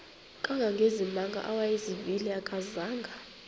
kangangezimanga awayezivile akazanga